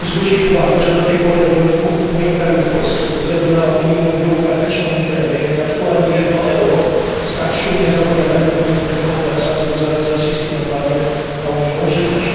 Chciałbym zwrócić uwagę na fakt, że do tej pory do rolników w moim kraju, w Polsce, ze względu na unijną biurokratyczną mitręgę, nie trafiło ani jedno euro z tak szumnie zapowiadanych unijnych rekompensat związanych z rosyjskim embargiem na unijną żywność.